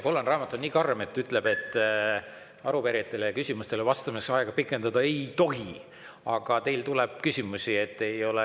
Kollane raamat on nii karm, et ütleb, et arupärijatele ja küsimustele vastamiseks aega pikendada ei tohi, aga teile tuleb veel küsimusi.